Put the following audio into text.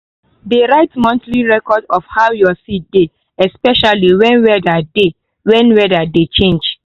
dey write monthly record of how your seed dey especially when weather dey when weather dey change.